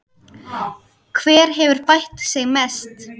Hver hefur bætt sig mest?